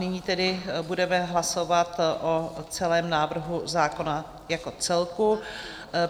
Nyní tedy budeme hlasovat o celém návrhu zákona jako celku.